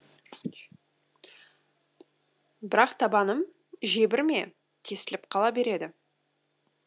бірақ табаным жебір ме тесіліп қала береді